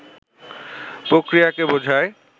প্রক্রিয়াকে বোঝায়